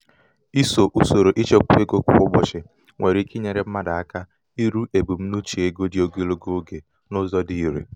ịso usoro ịchekwa ego kwa ụbọchị nwere ike inyere mmadụ aka iru ebumnuche ego dị ogologo oge n'ụzọ n'ụzọ dị irè.